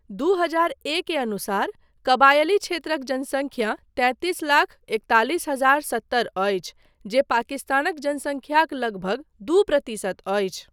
दू हजार ए के अनुसार कबायली क्षेत्रक जनसंख्या तैंतिस लाख एकतालीस हजार सत्तर अछि जे पाकिस्तानक जनसंख्याक लगभग दू प्रतिशत अछि।